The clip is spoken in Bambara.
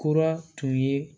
Kura tun ye